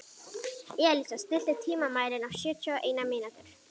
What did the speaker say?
Elísa, stilltu tímamælinn á sjötíu og eina mínútur.